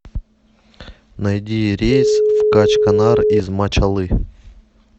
найди рейс в качканар из мачалы